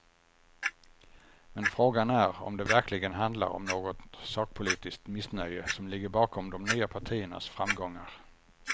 Men frågan är om det verkligen handlar om något sakpolitiskt missnöje som ligger bakom de nya partiernas framgångar.